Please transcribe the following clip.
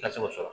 Ka se k'o sɔrɔ